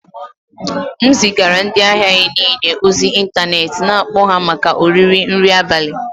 M zigara ndị ahịa anyị niile ozi ịntanetị na-akpọ ha maka oriri nri abalị